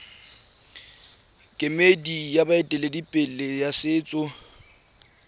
kemedi ya baeteledipele ba setso